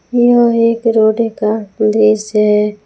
यह एक रोडे का दृश्य है।